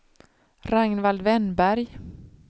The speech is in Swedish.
Ragnvald Wennberg